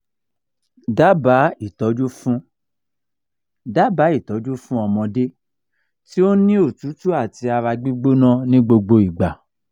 daba itọju fun daba itọju fun ọmọde ti o n ni otutu ati ara gbigbona ni gbogbo igba